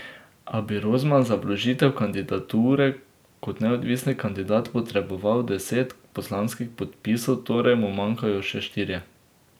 A bi Rozman za vložitev kandidature kot neodvisni kandidat potreboval deset poslanskih podpisov, torej mu manjkajo še štirje.